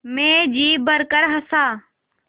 मैं जी भरकर हँसा